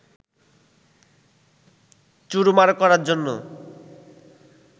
চুরমার করার জন্য